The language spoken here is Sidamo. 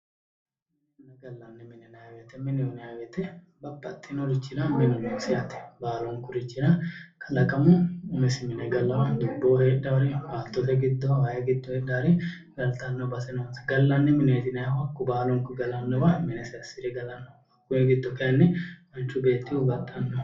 gallanni mine yinayi woyte mineho yinayi woyte babbaxinorichira minu noosi yaate baalunkurichira kalaqamu umisi mine galawo dubbo heedhawori way giddo baattote giddo heedhawori galtanno base noonsa gallanni mineeti yinaayihu hakku baalunku galannowa minesi assire galanno hakkuy giddo kayinni manchu beettihu baxxanno